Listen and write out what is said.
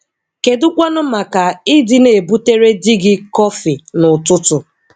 Kedụkwanụ maka ị dị na ebutere di gị kọfi n'ụtụtụ?